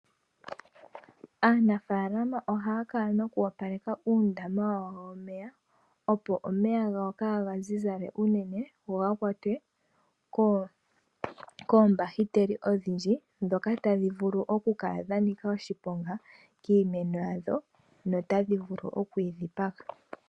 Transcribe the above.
Aanafaalama oha ya kala noku opaleka uundama wawo womeya , opo omeya ga wo kaa ga zizale unene, go ga kwatwe koombahiteli odhindji ndhoka ta dhi vulu oku kala dha nika oshiponga kiimeno yawo, nota dhi vulu oku yi dhipaga.